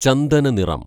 ചന്ദന നിറം